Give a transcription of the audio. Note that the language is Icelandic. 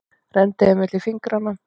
Renndi þeim milli fingranna.